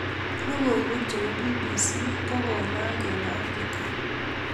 logoiwek chebo BBC kokonaak eng Afrika